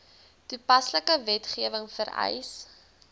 toepaslike wetgewing vereis